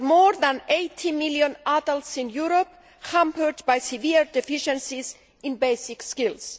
There are more than 80 million adults in Europe hampered by severe deficiencies in basic skills.